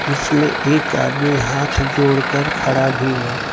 इसमें एक आदमी हाथ जोड़कर खड़ा भी है।